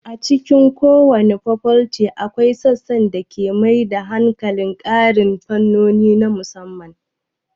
A cikin kowace fakolti, akwai sassan da ke mai da hankali kan ƙarin fannoni na musamman.